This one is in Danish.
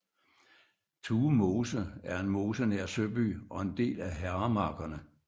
Tuemose er en en mose nær Søby og en del af Herremarkerne